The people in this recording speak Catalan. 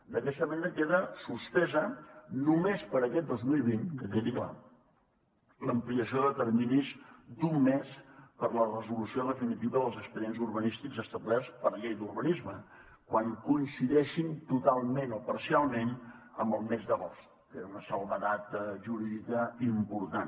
d’aquesta manera queda suspesa només per a aquest dos mil vint que quedi clar l’ampliació de terminis d’un mes per a la resolució definitiva dels expedients urbanístics establerts per llei d’urbanisme quan coincideixin totalment o parcialment amb el mes d’agost que era una excepció jurídica important